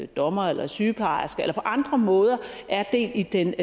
dommer eller sygeplejerske eller på andre måder er del i den